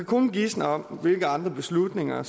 kun gisne om hvilke andre beslutninger